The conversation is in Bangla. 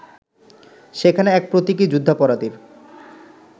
সেখানে এক প্রতীকী যুদ্ধাপরাধীর